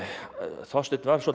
Þorsteinn var svolítið